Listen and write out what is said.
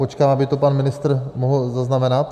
Počkám, aby to pan ministr mohl zaznamenat.